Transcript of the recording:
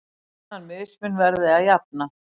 Þennan mismun verði að jafna.